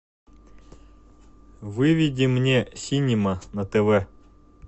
выведи мне синема на тв